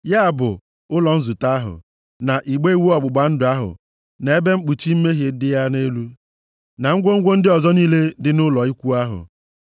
“ya bụ, ụlọ nzute ahụ, na igbe iwu ọgbụgba ndụ ahụ, na ebe mkpuchi mmehie dị ya nʼelu, na ngwongwo ndị ọzọ niile dị nʼụlọ ikwu ahụ,